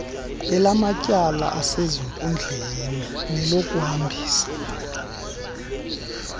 elamatyala asezinkundleni nelokuhambisa